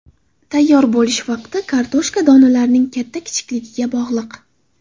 Tayyor bo‘lish vaqti kartoshka donalarining katta-kichikligiga bog‘liq.